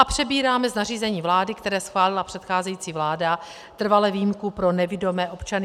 A přebíráme z nařízení vlády, které schválila předcházející vláda, trvale výjimku pro nevidomé občany.